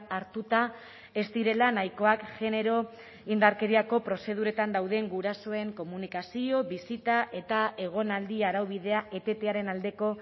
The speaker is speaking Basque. hartuta ez direla nahikoak genero indarkeriako prozeduretan dauden gurasoen komunikazio bisita eta egonaldi araubidea etetearen aldeko